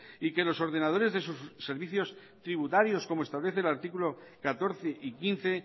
y que los ordenadores de sus servicios tributarios como establece el artículo catorce y quince